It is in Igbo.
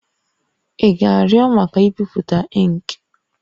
Ị ga-arịọ maka ibipụta ink?